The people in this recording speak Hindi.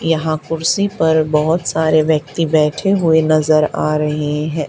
यहाँ कुर्सी पर बहोत सारे व्यक्ति बैठे हुए नजर आ रहें हैं।